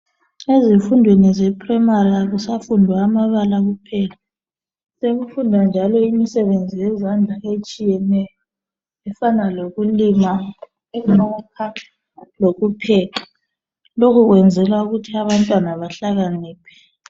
Ezifundweni zase primary akusafundwa amabala kuphela sekufundwa njalo imisebenzi yezandla etshiyeneyo efana lokulima lokupheka lokhu kwenzelwa ukuthi abantwana behlakaniphe.